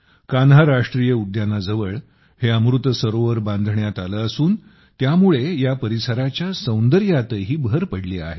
कान्हा राष्ट्रीय उद्यानाजवळ हे अमृत सरोवर बांधण्यात आले असून त्यामुळे या परिसराच्या सौंदर्यातही भर पडली आहे